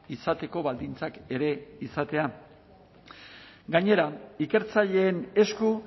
izateko baldintzak ere izatea gainera ikertzaileen esku